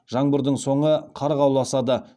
жаңбырдың соңы қарға ұласады